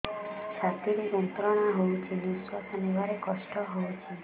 ଛାତି ରେ ଯନ୍ତ୍ରଣା ହଉଛି ନିଶ୍ୱାସ ନେବାରେ କଷ୍ଟ ହଉଛି